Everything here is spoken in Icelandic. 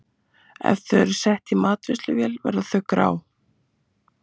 Ef þau eru sett í matvinnsluvél verða þau grá.